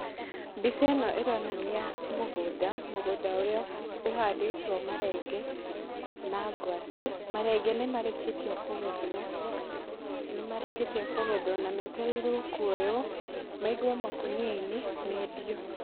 Mbica ĩno ĩronania mũgũnda, mũgũnda ũrĩa ũhandĩtwo marenge na ngwacĩ, marenge nĩ marĩkĩtie kũgethwo, nĩ marĩkĩtie kũgethwo, na metereirwo kwoywo maigwo makonia-inĩ mendio.